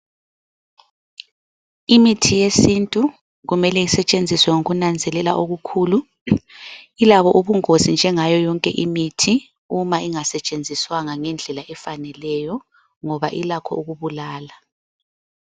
Imithi yesintu kumele isetshenziswe ngokunanzelela okukhulu. Ilabo ubungozi njengayo yonke imithi uma engasetshenziswanga ngendlela efaneleyo ngoba ilakho ukubulala.